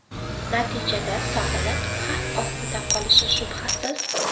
Natijada sog‘liq xavf ostida qolishi shubhasiz.